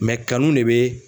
kanu ne bɛ